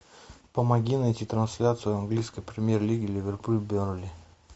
помоги найти трансляцию английской премьер лиги ливерпуль бернли